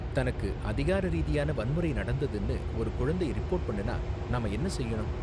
தனக்கு அதிகார ரீதியான வன்முறை நடந்ததுனு ஒரு குழந்தை ரிப்போர்ட் பண்ணுனா நாம என்ன செய்யணும்?